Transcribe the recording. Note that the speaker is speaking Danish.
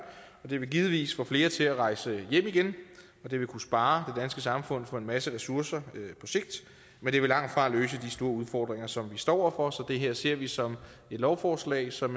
og det vil givetvis få flere til at rejse hjem igen og det vil kunne spare det danske samfund for en masse ressourcer på sigt men det vil langtfra løse de store udfordringer som vi står over for så det her ser vi som et lovforslag som